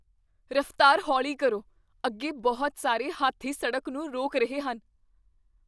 ਰਫ਼ਤਾਰ ਹੌਲੀ ਕਰੋ। ਅੱਗੇ ਬਹੁਤ ਸਾਰੇ ਹਾਥੀ ਸੜਕ ਨੂੰ ਰੋਕ ਰਹੇ ਹਨ।